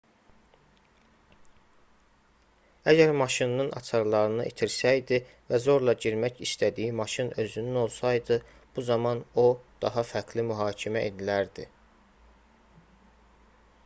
əgər maşınının açarlarını itirsəydi və zorla girmək istədiyi maşın özünün olsaydı bu zaman o daha fərqli mühakimə edilərdi